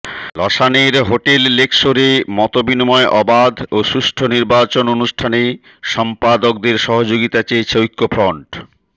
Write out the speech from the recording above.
লশানের hotel লেকশোরে মতবিনিময় অবাধ ও সুষ্ঠু নির্বাচন অনুষ্ঠানে সম্পাদকদের সহযোগিতা চেয়েছে ঐক্যফ্রন্ট